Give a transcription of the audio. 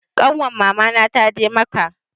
Ƙanwar mama na ta je macca